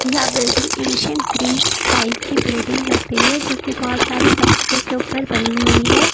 यह building ancient Greek type की building लग रही है जोकि बोहोत सारी पत्थरों के ऊपर बनी हुई है।